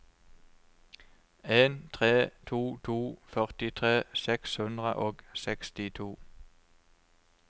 en tre to to førtitre seks hundre og sekstito